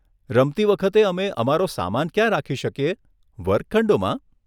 રમતી વખતે અમે અમારો સામાન ક્યાં રાખી શકીએ, વર્ગખંડોમાં?